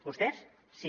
vostès sí